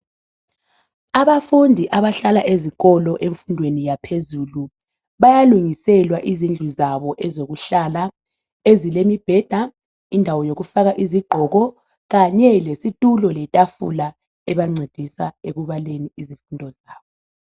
Abafundi abahlala ezikolo efundweni yaphezulu bayalungiselwa izindlu zabo zokuhlala ezilemibheda lendawo yokufaka impahla kanye lesitulonletafula ebancedisa ekubaleni izifundweni zabo .